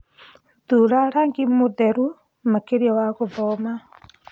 thũra rangĩ mutheru makĩrĩa wa gũthoma